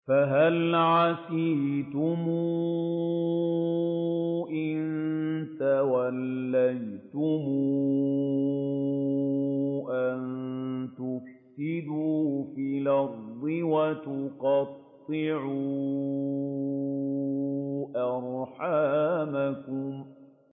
فَهَلْ عَسَيْتُمْ إِن تَوَلَّيْتُمْ أَن تُفْسِدُوا فِي الْأَرْضِ وَتُقَطِّعُوا أَرْحَامَكُمْ